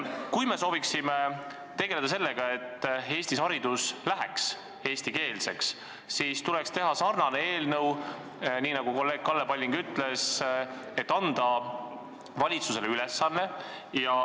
Kui me sooviksime tegeleda sellega, et Eestis läheks haridus eestikeelseks, siis tuleks teha sarnane eelnõu, millest kolleeg Kalle Palling rääkis, et anda valitsusele ülesanne.